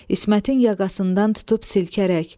İsmətin yaqasından tutub silkərək.